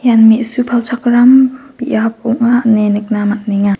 ian me·su palchakram biap ong·a ine nikna man·enga.